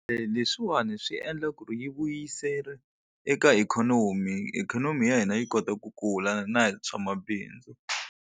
Leswiwani swi endla ku ri yi vuyisela eka ikhonomi ikhonomi ya hina yi kota ku kula na hi swa mabindzu.